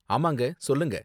ஆமாங்க, சொல்லுங்க